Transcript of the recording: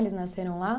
Eles nasceram lá?